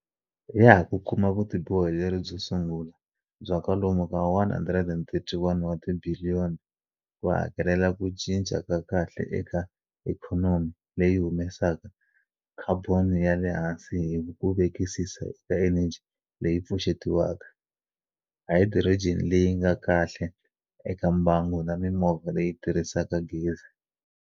Ya ha ku kuma vutiboheleri byo su ngula bya kwalomu ka R131 wa tibiliyoni ku hakelela ku cinca ka kahle kuya eka ikho nomi leyi humesaka khaboni ya le hansi hi ku vekisa eka eneji leyi pfuxetiwaka, ha yidirojeni leyi nga kahle eka mbangu na mimovha leyi tirhisaka gezi.